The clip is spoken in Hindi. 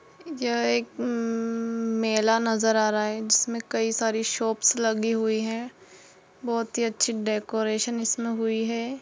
यह एक यम मेला नजर आ रहा है जिसमे कई सारी शॉप्स लगी हुइ है बहुत ही अच्छी डेकोरेशन हुई है।